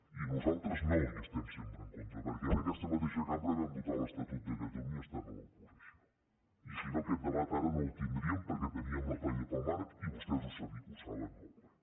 i nosaltres no hi estem sempre en contra perquè en aquesta mateixa cambra vam votar l’estatut de catalunya estant a l’oposició i si no aquest debat ara no el tindríem perquè teníem la paella pel mànec i vostès ho saben molt bé